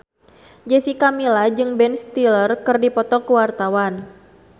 Jessica Milla jeung Ben Stiller keur dipoto ku wartawan